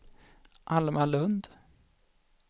Alma Lundh